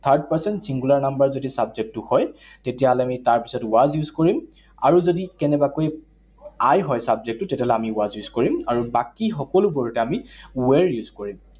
Third person singular number যদি subject টো হয়, তেতিয়াহলে আমি তাৰ পিছত was use কৰিম। আৰু যদি কেনেবাকৈ I হয় subject টো, তেতিয়াহলে আমি was use কৰিম। আৰু বাকী সকলোবোৰতে আমি were use কৰিম।